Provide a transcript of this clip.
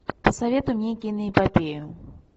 посоветуй мне киноэпопею